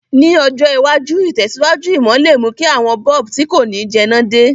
Ní ọjọ̀ iwájú, ìtẹ̀síwájú ìmò le mú ki àwon bulb ti ko ni jẹná de